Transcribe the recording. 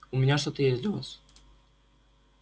у меня что-то есть для вас